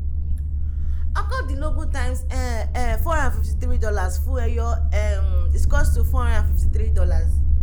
ọ̀kàndínlógún times um um four hundred and fifty-three dollars fún ẹyọ um equals to four hundred and fifty-three dollars